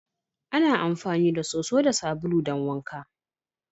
Ana amfani da soso da sabulu don wanka.